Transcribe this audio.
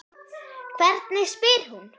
Hvernig spyr hún?